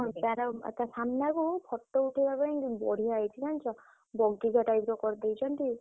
ହଁ ତାର ସାମ୍ନାକୁ photo ଉଠେଇବା ପାଇଁ ବଢିଆ ହେଇଛି ଜାଣିଛ